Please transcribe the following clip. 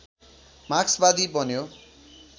मार्क्सवादी बन्यो